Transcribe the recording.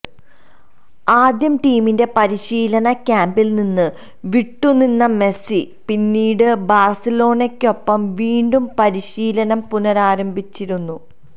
ആദ്യം ടീമിന്റെ പരിശീലന ക്യാംപില് നിന്ന് വിട്ടുനിന്ന മെസ്സി പിന്നീട് ബാഴ്സലോണയ്ക്കൊപ്പം വീണ്ടും പരിശീലനം പുനരാരംഭിച്ചിരുന്നു